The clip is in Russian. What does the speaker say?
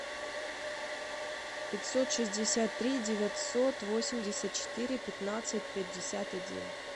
пятьсот шестьдесят три девятьсот восемьдесят четыре пятнадцать пятьдесят один